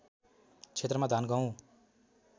क्षेत्रमा धान गहूँ